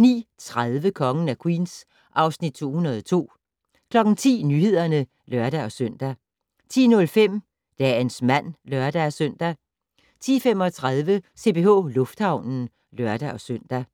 09:30: Kongen af Queens (Afs. 202) 10:00: Nyhederne (lør-søn) 10:05: Dagens mand (lør-søn) 10:35: CPH Lufthavnen (lør-søn)